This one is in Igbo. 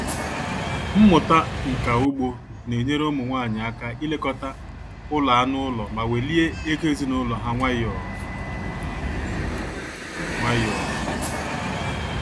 Mmụta nka ugbo na-enyere ụmụ nwanyị aka ilekọta ụlọ anụ ụlọ ma welie ego ezinụlọ ha nwayọọ nwayọọ